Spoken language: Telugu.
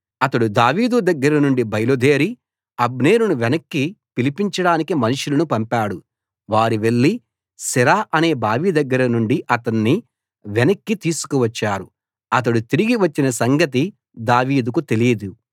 అతడు దావీదు దగ్గర నుండి బయలుదేరి అబ్నేరును వెనక్కి పిలిపించడానికి మనుషులను పంపాడు వారు వెళ్లి సిరా అనే బావి దగ్గర నుండి అతణ్ణి వెనక్కి తీసుకు వచ్చారు అతడు తిరిగి వచ్చిన సంగతి దావీదుకు తెలీదు